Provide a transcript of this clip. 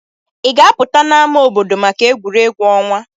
Ị ga-apụta n'ámá obodo maka egwuregwu ọnwa?